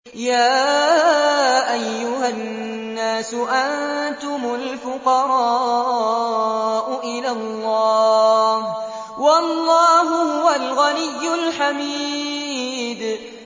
۞ يَا أَيُّهَا النَّاسُ أَنتُمُ الْفُقَرَاءُ إِلَى اللَّهِ ۖ وَاللَّهُ هُوَ الْغَنِيُّ الْحَمِيدُ